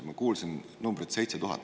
Ma kuulsin numbrit 7000.